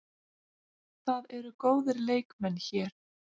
Það eru góðir leikmenn hér.